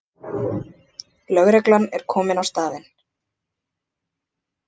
Lögreglan er komin á staðinn